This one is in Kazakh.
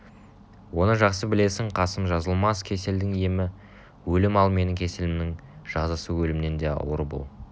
оны жақсы білесің қасым жазылмас кеселдің емі өлім ал менің кеселімнің жазасы өлімнен де ауыр бұл